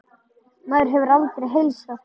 Maður hefur aldrei heilsað þessu.